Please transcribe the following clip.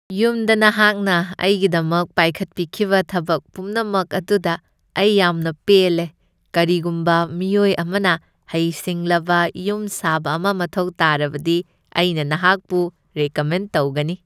ꯌꯨꯝꯗ ꯅꯍꯥꯛꯅ ꯑꯩꯒꯤꯗꯃꯛ ꯄꯥꯏꯈꯠꯄꯤꯈꯤꯕ ꯊꯕꯛ ꯄꯨꯝꯅꯃꯛ ꯑꯗꯨꯗ ꯑꯩ ꯌꯥꯝꯅ ꯄꯦꯜꯂꯦ꯫ ꯀꯔꯤꯒꯨꯝꯕ ꯃꯤꯑꯣꯏ ꯑꯃꯅ ꯍꯩꯁꯤꯡꯂꯕ ꯌꯨꯝꯁꯥꯕ ꯑꯃ ꯃꯊꯧ ꯇꯥꯔꯕꯗꯤ, ꯑꯩꯅ ꯅꯍꯥꯛꯄꯨ ꯔꯦꯀꯃꯦꯟ ꯇꯧꯒꯅꯤ꯫